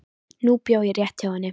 Nú bjó ég rétt hjá henni.